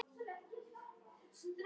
Hvað gengur að?